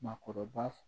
Maakɔrɔba